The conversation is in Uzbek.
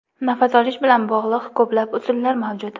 Nafas olish bilan bog‘liq ko‘plab usullar mavjud.